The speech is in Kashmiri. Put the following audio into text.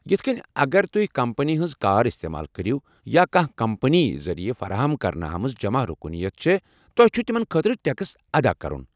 یِتھ کٔنۍ، اگر تُہۍ کمپنی ہنٛز كار استعمال كٔرِو یا کانٛہہ کمپنی ذٔریع فراہم کرنہٕ آمٕژ جمع رُكنیت چھےٚ، تۄہہ چُھ تمن خٲطرٕ ٹیكس ادا کرُن۔